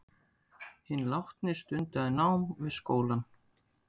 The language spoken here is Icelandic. Hinn látni stundaði nám við skólann